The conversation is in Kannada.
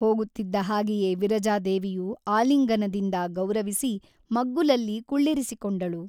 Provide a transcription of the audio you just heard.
ಹೋಗುತ್ತಿದ್ದ ಹಾಗೆಯೇ ವಿರಜಾದೇವಿಯು ಆಲಿಂಗನದಿಂದ ಗೌರವಿಸಿ ಮಗ್ಗುಲಲ್ಲಿ ಕುಳ್ಳಿರಿಸಿಕೊಂಡಳು.